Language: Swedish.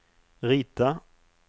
rita